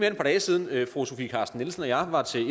et par dage siden fru sofie carsten nielsen og jeg var til